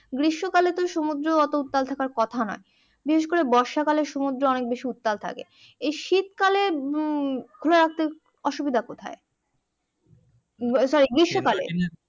গ্রীস্মকালে তো সমুদ্র অটো উত্তাল থাকার কথা নয় বিশেষ করে বর্ষাকাল এ সমুদ্র অনেক বেশি উত্তাল থাকে এই শীতকালে খুলে রাখতে অসুবিধে কোথায় সরি গ্রীস্মকালে